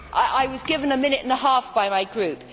I was given a minute and a half by my group.